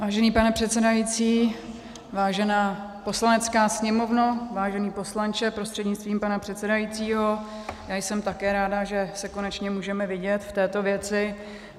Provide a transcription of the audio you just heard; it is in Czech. Vážený pane předsedající, vážená Poslanecká sněmovno, vážený poslanče prostřednictvím pana předsedajícího, já jsem také ráda, že se konečně můžeme vidět v této věci.